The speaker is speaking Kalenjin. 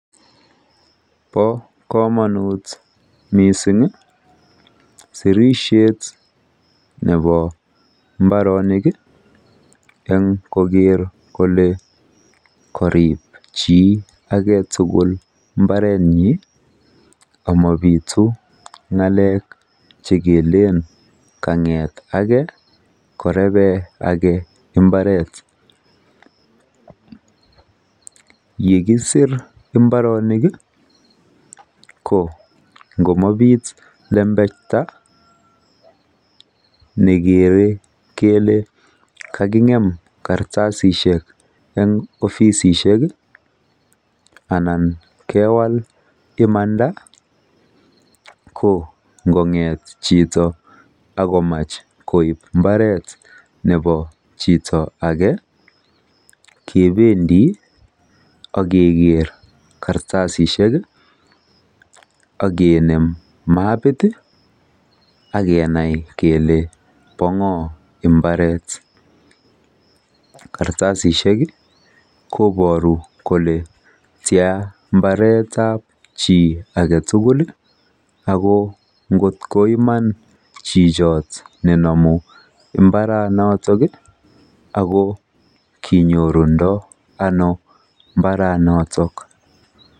Bo komonut missing sirishet nebo mbarenik en koker kole korib chi agetugul mbarenyin Ako mobitu ngalek chekelen kanget ake koreben ake mbaret yekisir mbarenik kongomabit lembeita nekere kele kakingem kartasishek eng ofisishek anan kewal imanda kongonget chito akomach koib mbaret nepo chito ake kebendi akeker kartasishek akenem mapiti akenai kele bo ngo mbaret kartasishek koboru kole tian mbaretab chi agetugul Ako ngoiman chichot nenomu mbaronotok akokinyoru ndono mbaronotok